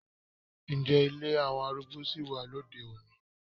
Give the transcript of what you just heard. Ǹjẹ́ ilé àwọn arúgbó sì wà lóde-òní?